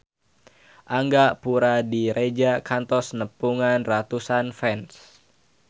Angga Puradiredja kantos nepungan ratusan fans